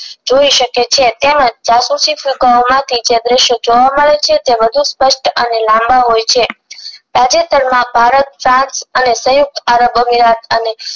જોય શકે છે તેમજ જાસૂસી ફૂગગાઓ આ દ્રશ્યો જોવા મળે છે તે વધુ સ્પષ્ટ અને લાંબા હોય છે તાજેતર માં ભારત અને સયુક્ત આરબ અમીરાત અને